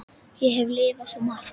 Ég hef lifað svo margt.